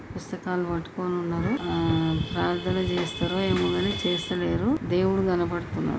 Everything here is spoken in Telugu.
పుస్తకాలు పట్టుకొని ఉన్నారు. ఆ ప్రార్థన చేస్తరు ఏమో గాని చేస్తలేరు. దేవుడు కనపడుతున్నాడు.